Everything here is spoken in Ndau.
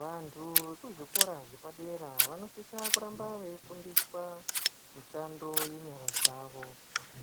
Vanhu vekuzvikora zvepadera vanosisa kuramba veifundiswa mushando ngenyara dzavo,